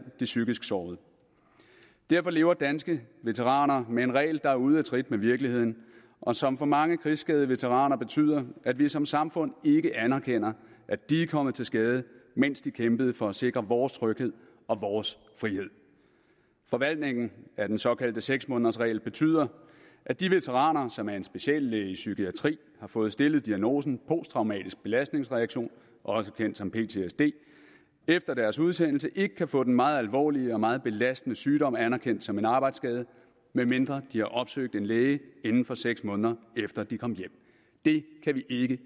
de psykisk sårede derfor lever danske veteraner med en regel der er ude af trit med virkeligheden og som for mange krigsskadede veteraner betyder at vi som samfund ikke anerkender at de er kommet til skade mens de kæmpede for at sikre vores tryghed og vores frihed forvaltningen af den såkaldte seks månedersregel betyder at de veteraner som af en speciallæge i psykiatri har fået stillet diagnosen posttraumatisk belastningsreaktion også kendt som ptsd efter deres udsendelse ikke kan få den meget alvorlige og meget belastende sygdom anerkendt som en arbejdsskade medmindre de har opsøgt en læge inden for seks måneder efter de kom hjem det kan vi ikke